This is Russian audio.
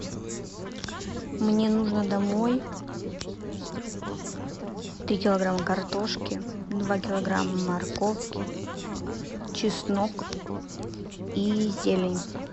мне нужно домой три килограмма картошки два килограмма морковки чеснок и зелень